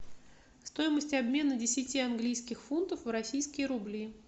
стоимость обмена десяти английских фунтов в российские рубли